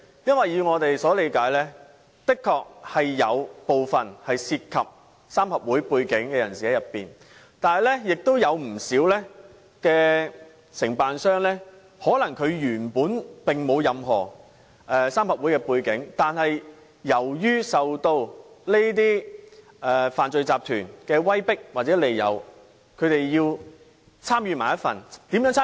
因為據我們所理解，的確有部分情況涉及三合會背景的人士，但亦有不少承辦商本身可能並沒有任何三合會背景，但由於受到這些犯罪集團的威迫利誘，因而參與其中。